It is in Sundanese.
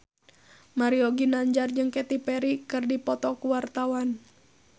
Mario Ginanjar jeung Katy Perry keur dipoto ku wartawan